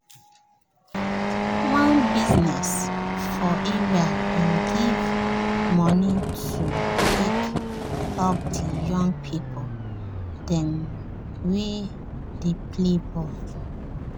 one biznes for area bin give moni to take help the young pipo dem wey dey play ball.